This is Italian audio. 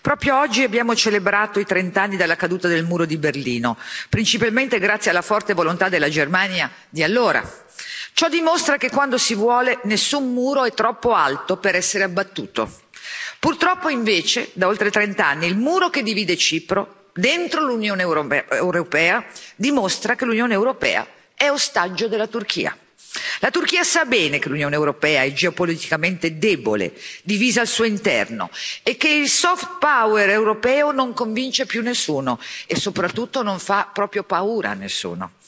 Signor Presidente, onorevoli colleghi, proprio oggi abbiamo celebrato i trent'anni dalla caduta del muro di Berlino, principalmente grazie alla forte volontà della Germania di allora. Ciò dimostra che quando si vuole nessun muro è troppo alto per essere abbattuto. Purtroppo, invece, da oltre trent'anni il muro che divide Cipro dentro l'Unione europea dimostra che l'Unione europea è ostaggio della Turchia. La Turchia sa bene che l'Unione europea è geopoliticamente debole, divisa al suo interno e che il soft power europeo non convince più nessuno e, soprattutto, non fa proprio paura a nessuno.